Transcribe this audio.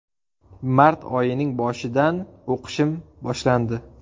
Mart oyining boshidan o‘qishim boshlandi.